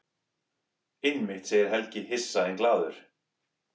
Einmitt, segir Helgi hissa en glaður.